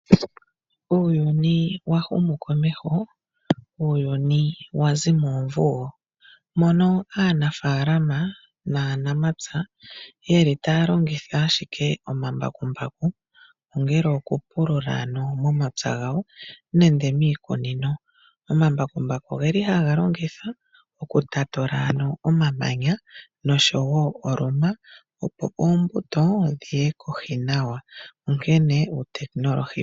Uuyuni wa humu komeho, uuyuni wa zi moomvugo, mono aanafaalama naanamapya ye li taya longitha ashike omambakumbaku ongele okupulula momapya gawo nenge miikunino. Omambakumbaku oge li ha ga longithwa oku tatula omamanya nosho wo oluma opo ombuto yi ye kohi nawa.